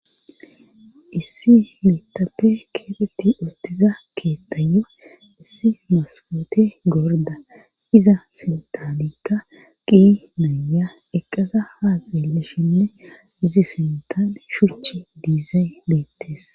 issi mitappe keeteti uttiza keettayyo issi maskootey gorda iza sintanikka qi naya eqqada haa xeellashenne izi sintani shuchi diizay beettes